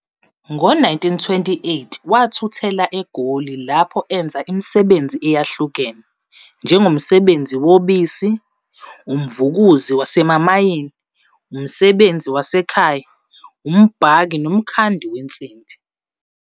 Ngo-1928 wathuthela eGoli lapho enza imisebenzi eyahlukene, njengomsebenzi wobisi, umvukuzi wasemamayini, umsebenzi wasekhaya, umbhaki nomkhandi wensimbi.